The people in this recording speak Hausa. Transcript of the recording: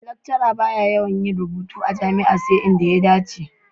Lecturer ba ya yawan yin rubutu a jami'a sai inda ya dace.